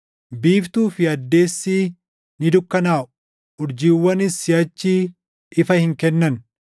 Biiftuu fi addeessi ni dukkanaaʼu; urjiiwwanis siʼachi ifa hin kennan.